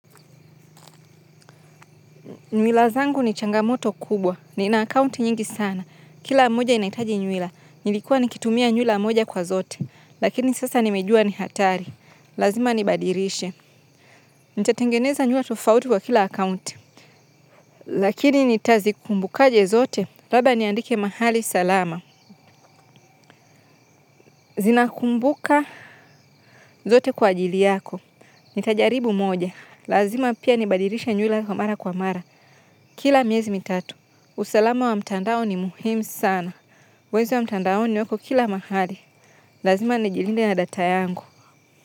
Mila zangu ni changamoto kubwa. Nina akounti nyingi sana. Kila moja inahitaji mila. Nilikuwa nikitumia nyuila moja kwa zote. Lakini sasa nimejua ni hatari. Lazima nibadilishe. Nitatengeneza nyua tufauti kwa kila akounti. Lakini nitazikumbukaje zote labda niandike mahali salama. Zinakumbuka zote kwa ajili yako. Nitajaribu moja. Lazima pia nibadilishe nyuila mara kwa mara. Kila miezi mitatu. Usalama wa mtandao ni muhimu sana. Wezi wa mtandaoni wako kila mahali. Lazima nijilinde nadata yangu.